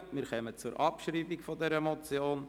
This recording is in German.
Wir kommen zur Abschreibung dieser Motion.